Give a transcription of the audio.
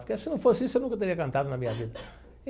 Porque, se não fosse isso, eu nunca teria cantado na minha vida.